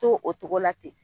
To o togo la ten.